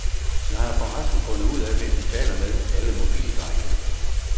Jeg har forresten fundet ud af, hvem de taler med, alle mobildrengene.